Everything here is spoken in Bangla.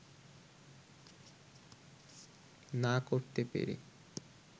না করতে পেরে